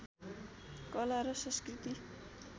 कला र संस्कृति